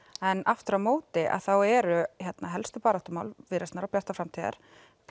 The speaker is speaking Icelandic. en aftur á móti þá eru hérna helstu baráttumál Viðreisnar og Bjartrar framtíðar